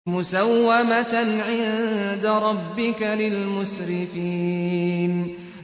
مُّسَوَّمَةً عِندَ رَبِّكَ لِلْمُسْرِفِينَ